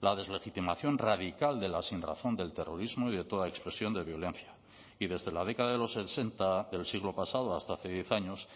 la deslegitimación radical de la sinrazón del terrorismo y de toda expresión de violencia y desde la década de los sesenta del siglo pasado hasta hace diez años